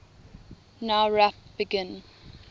nowrap begin